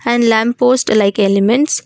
and lamp post like elements